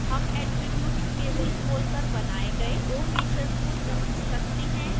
हम attribute table खोलकर बनाए गए दो फीचर्स को जाँच सकते हैं